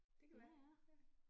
Det kan være ja